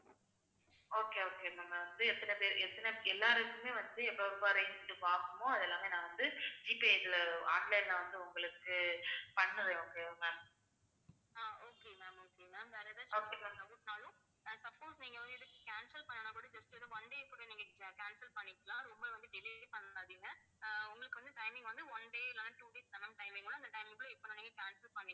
okay ma'am, okay ma'am வேற ஏதாச்சும் suppose நீங்க வந்து cancel பண்ணனும்னா கூட just ஒரு one day கூட நீங்க cancel பண்ணிக்கலாம். ரொம்ப வந்து delay பண்ணிடாதீங்க அஹ் உங்களுக்கு வந்து timing வந்து one day இல்லைன்னா two days தான் ma'am timing அந்த timing க்குள்ள நீங்க cancel பண்ணிக்கலாம்